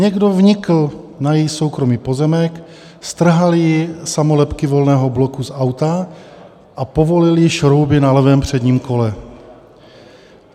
Někdo vnikl na její soukromý pozemek, strhal jí samolepky Volného bloku z auta a povolil jí šrouby na levém předním kole.